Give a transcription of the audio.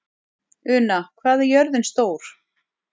Una, hvað er jörðin stór?